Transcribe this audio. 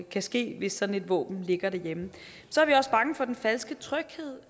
kan ske hvis sådan et våben ligger derhjemme så er vi også bange for den falske tryghed